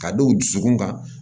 Ka dɔw dusukun ka